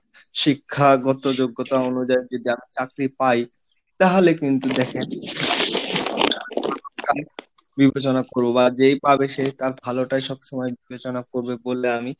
শিক্ষাগত যোগ্যতা অনুযায়ী যদি চাকরি পাই তাহলে কিন্তু দেখেন বিবেচনা করবো বা যেই পাবে সে তার ভালোটাই সব সময় বিবেচনা করবে বলে আমি,